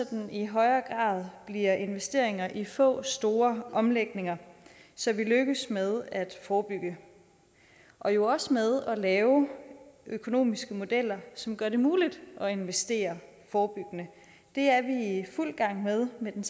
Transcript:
den i højere grad bliver investeringer i få store omlægninger så vi lykkes med at forebygge og jo også med at lave økonomiske modeller som gør det muligt at investere forebyggende det er vi i fuld gang med med den